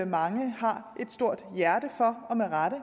mange har et stort hjerte for og med rette